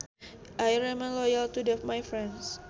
I remain loyal to the my friends